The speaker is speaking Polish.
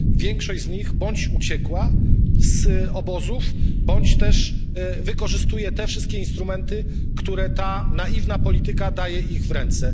Większość z nich bądź uciekła z obozów, bądź też wykorzystuje te wszystkie instrumenty, które ta naiwna polityka daje im w ręce.